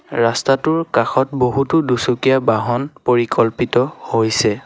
ৰাস্তাটোৰ কাষত বহুতো দুচকীয়া বাহন পৰিকল্পিত হৈছে।